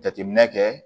Jateminɛ kɛ